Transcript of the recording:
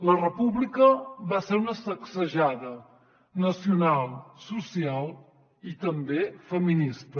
la república va ser una sacsejada nacional social i també feminista